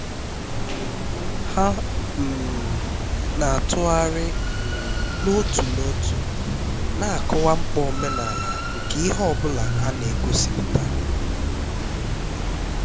ha um na-atụgharị um n'otu n'otu na-akọwa mkpa omenala nke ihe ọ bụla a na-egosipụta um